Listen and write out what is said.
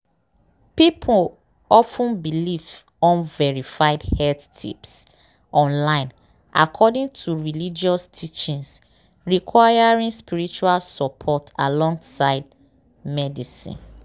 people of ten believe unverified health tips online according to religious teachings requiring spiritual support alongside medicine.”